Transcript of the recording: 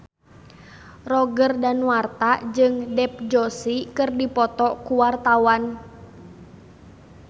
Roger Danuarta jeung Dev Joshi keur dipoto ku wartawan